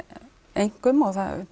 einkum og það